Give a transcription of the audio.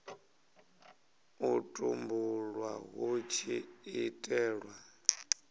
u tumbulwa hu tshi itelwa